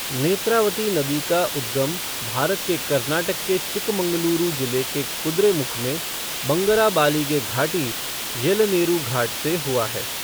नेत्रावती नदी का उद्गम भारत के कर्नाटक के चिक्कमगलुरु जिले के कुद्रेमुख में बंगराबालिगे घाटी, येलनेरू घाट से हुआ है।